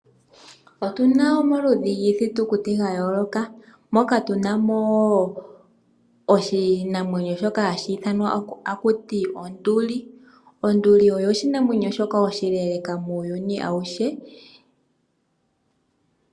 Otu na omaludhi giithitukuti ya yooloka moka tu na mo oshinamwenyo shoka hashi ithanwa takuti onduli. Onduli oyo oshinamwenyo shoka oshileeleka muuyuni awuhe.